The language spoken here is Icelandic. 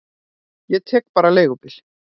Ég tek bara leigubíl.